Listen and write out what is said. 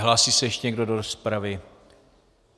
Hlásí se ještě někdo do rozpravy?